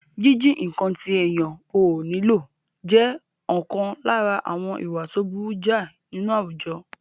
Jíjí nǹkan tí èèyàn ò nílò jẹ́ ọ̀kan lára àwọn ìwà tó burú jáì nínú àwùjọ